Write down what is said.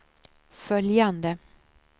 följande